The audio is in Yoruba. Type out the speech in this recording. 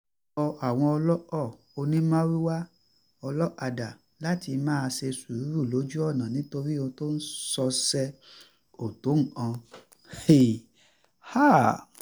ó rọ àwọn olóko onímàrúwá olókadá láti máa ṣe sùúrù lójú ọ̀nà nítorí ohun tó ń ṣọṣẹ́ kò tó nǹkan